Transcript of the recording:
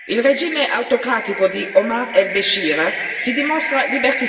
Questi casi sono l'indice dell'arretramento dei diritti umani nel Sudan.